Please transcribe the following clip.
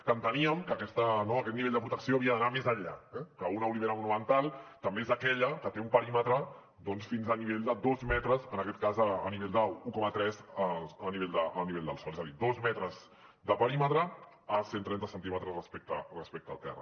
que enteníem no que aquest nivell de protecció havia d’anar més enllà eh que una olivera monumental també és aquella que té un perímetre doncs fins a nivell de dos metres en aquest cas a nivell d’un coma tres a nivell del sòl és a dir dos metres de perímetre a cent trenta centímetres respecte al terra